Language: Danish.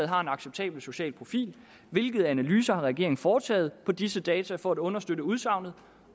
har en acceptabel social profil hvilke analyser har regeringen foretaget på disse data for at understøtte udsagnet